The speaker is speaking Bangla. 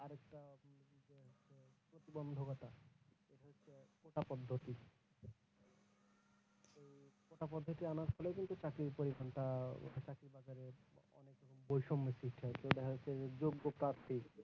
আনার ফলে কিন্তু চাক্রির পরমানটা